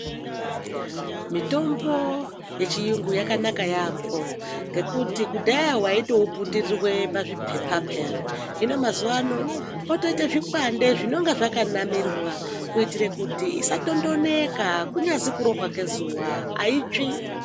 Mitombo yechiyungu yakanaka yaamho, ngekuti kudhaya waitouputirirwe pazviphepa pheyani. Hino mazuwa ano potoite zvikwande zvinonga zvakanamirwa, kuitira kuti isatondonoka, kunyazwi kurohwa ngezuva hayitsvi.